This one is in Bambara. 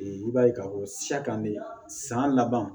I b'a ye k'a fɔ sa kan de san laban